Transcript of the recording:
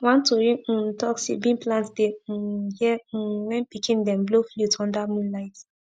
one tori um talk say bean plant dey um hear um when pikin dem blow flute under moonlight